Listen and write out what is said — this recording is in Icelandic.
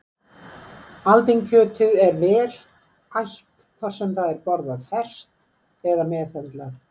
Aldinkjötið er vel ætt hvort sem það er borðað ferskt eða meðhöndlað.